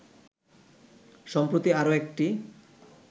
সম্প্রতি আরও একটি